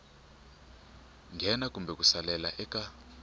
nghena kumbe ku salela eka